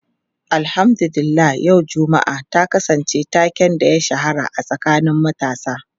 Alhamdu lillah yau Juma'a ta kasance taken da ya shahara a tsakanin matasa.